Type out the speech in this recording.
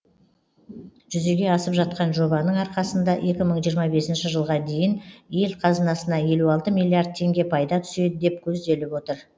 жүзеге асып жатқан жобаның арқасында екі мың жиырма бесінші жылға дейін ел қазынасына елу алты миллиард теңге пайда түседі деп көзделіп отыр